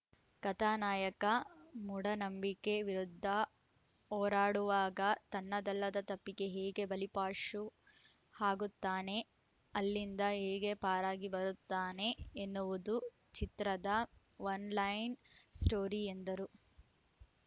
ಕಥಾ ನಾಯಕ ಮೂಢನಂಬಿಕೆ ವಿರುದ್ಧ ಹೋರಾಡುವಾಗ ತನ್ನದಲ್ಲದ ತಪ್ಪಿಗೆ ಹೇಗೆ ಬಲಿಪಾಶು ಆಗುತ್ತಾನೆ ಅಲ್ಲಿಂಗ ಹೇಗೆ ಪಾರಾಗಿ ಬರುತ್ತಾನೆ ಎನ್ನುವುದು ಚಿತ್ರದ ಒನ್‌ಲೈನ್‌ ಸ್ಟೋರಿ ಎಂದರು